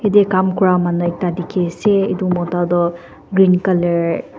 ete kaam kora manu ekta dikhi ase etu mota toh green colour .